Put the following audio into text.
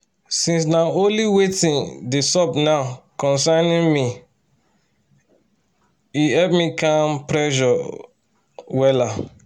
since na only watin dey sup now concern um me e help me calm pressure wella